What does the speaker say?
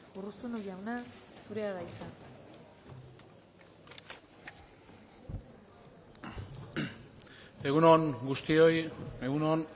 urruzuno jauna zurea da hitza egun on guztioi egun on